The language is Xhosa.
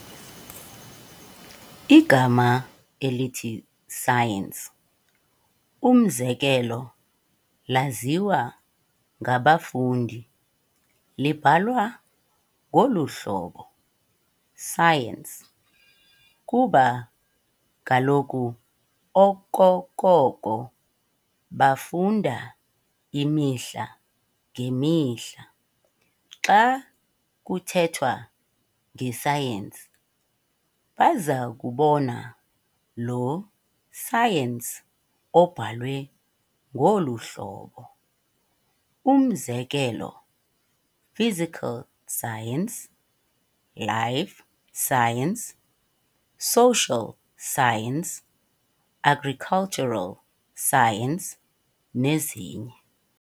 Igama elithi science, umzekelo, laziwa ngabafundi libhalwa ngolu-hlobo "Science", kuba kaloku okokoko bafunda imihla ngemihla xa kuthetha ngescience bazakubona lo "science" obhalwe ngolu hlobo, umzekelo, Physical science, life Science, social science, Agricultural science, nezinye.